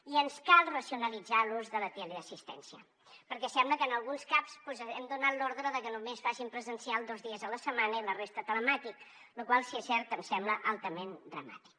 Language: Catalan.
i ens cal racionalitzar l’ús de la teleassistència perquè sembla que en alguns caps hem donat l’ordre de que només facin presencial dos dies a la setmana i la resta telemàtic la qual cosa si és certa em sembla altament dramàtica